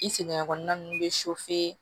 I sɛgɛn kɔnɔna nunnu bɛ